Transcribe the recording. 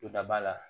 Todaba la